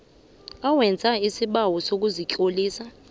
owenza isibawo sokuzitlolisa